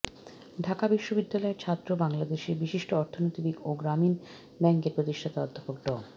ঢাকা বিশ্ববিদ্যালয়ের ছাত্র বাংলাদেশের বিশিষ্ট অর্থনীতিবিদ ও গ্রামীণ ব্যাংকের প্রতিষ্ঠাতা অধ্যাপক ড